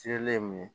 Sele ye min ye